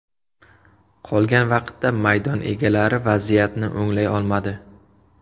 Qolgan vaqtda maydon egalari vaziyatni o‘nglay olmadi.